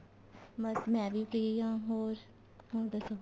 ਬੱਸ ਮੈਂ ਵੀ free ਆ ਹੋਰ ਤੂੰ ਦੱਸ